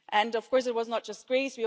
Of course, it was not just Greece